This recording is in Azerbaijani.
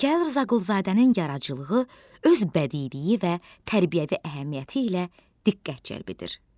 Mikayıl Rzaquluzadənin yaradıcılığı öz bədiiliyi və tərbiyəvi əhəmiyyəti ilə diqqət cəlb edir.